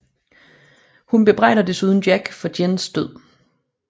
Hun bebrejder desuden Jack for Jins død